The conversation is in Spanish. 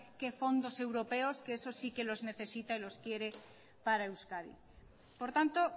qué fondos europeos que eso sí que los necesita y los quiere para euskadi por tanto